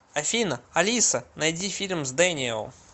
афина алиса найди фильм с дэниел